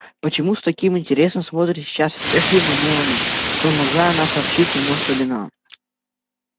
почему с таким интересом смотрит сейчас эшли на мелани что могла она сообщить ему особенного